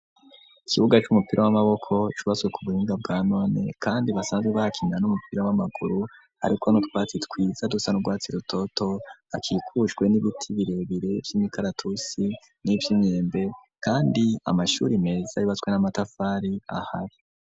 Ikibuga c'umupira w'amaboko cubase ku buhinga bwa none kandi basanzwe bakinira n'umupira w'amaguru ariko n'urwatsi twiza dusa n urwatsi rutoto akikushwe n'ibiti birebire by'imikaratusi n'iby'imyembe kandi amashuri meza yubatswe n'amatafari ahari.